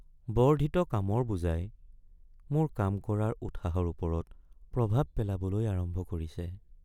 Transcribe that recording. বৰ্ধিত কামৰ বোজাই মোৰ কাম কৰাৰ উৎসাহৰ ওপৰত প্ৰভাৱ পেলাবলৈ আৰম্ভ কৰিছে।